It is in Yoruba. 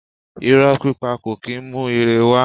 Irọ̀ pípa kò kì í mú ire wá.